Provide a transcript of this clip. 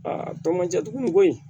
a tɔ man ca dugu ko in